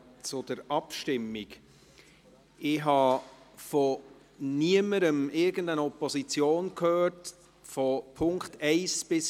Ich habe von niemandem irgendeine Opposition gehört zu den Punkten 1–4.